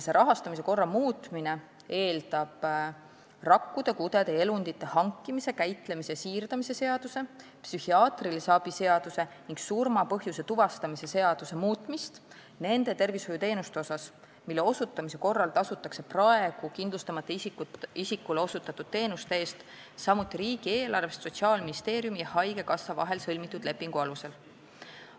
Selle korra muutmine eeldab rakkude, kudede ja elundite hankimise, käitlemise ja siirdamise seaduse, psühhiaatrilise abi seaduse ning surma põhjuse tuvastamise seaduse muutmist, muutes seal neid tervishoiuteenuseid käsitlevat osa, mille osutamise korral tasutakse praegu kindlustamata isikule osutatud teenuste eest samuti riigieelarvest Sotsiaalministeeriumi ja haigekassa vahel sõlmitud lepingu alusel.